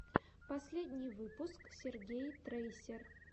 последний выпуск сергей трейсер